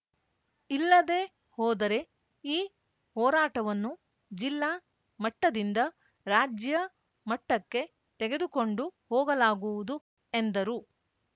ಇಲ್ಲದೆ ಹೋದರೆ ಈ ಹೋರಾಟವನ್ನು ಜಿಲ್ಲಾ ಮಟ್ಟದಿಂದ ರಾಜ್ಯಮಟ್ಟಕ್ಕೆ ತೆಗೆದುಕೊಂಡು ಹೋಗಲಾಗುವುದು ಎಂದರು